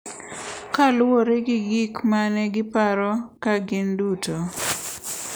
Kaluwore gi gik ma ne giparo ka gin duto.